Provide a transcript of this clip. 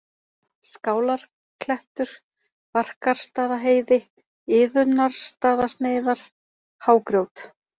Skálarklettur, Barkarstaðaheiði, Iðunnarstaðasneiðar, Hágrjót